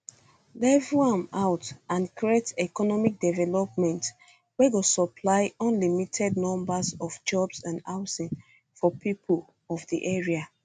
level am out and create economic development wey go supply unlimited numbers of jobs and housing for pipo of di area